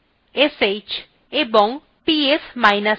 bash sh এবং psf